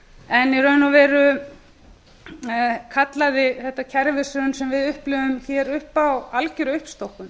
en í raun og veru kallaði þetta kerfishrun sem við upplifðum hér upp á algjöra uppstokkun